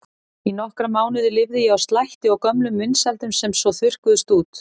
Í nokkra mánuði lifði ég á slætti og gömlum vinsældum sem svo þurrkuðust út.